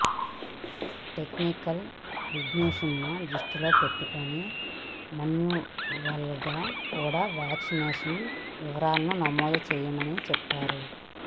technical ఇష్యూస్ను దృష్టిలో పెట్టుకుని మాన్యువల్గా కూడా వ్యాక్సినేషన్ వివరాలను నమోదు చేస్తామని చెప్పారు